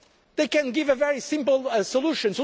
and anger they can offer a very simple